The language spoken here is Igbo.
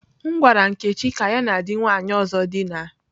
M gwara Nkechi ka ya na di nwanyi ozo dina.